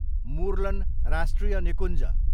मुर्लेन राष्ट्रिय निकुञ्ज